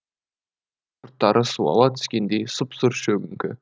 ұрттары суала түскендей сұп сұр шөгіңкі